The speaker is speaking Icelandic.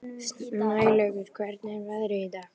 Snælaugur, hvernig er veðrið í dag?